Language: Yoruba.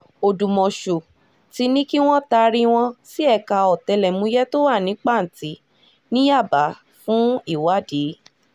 ọ̀dùmọ̀ṣù ti ní kí wọ́n taari wọn sí ẹ̀ka ọ̀tẹlẹ̀múyẹ́ tó wà ní pàǹtì ní yábà fún ìwádìí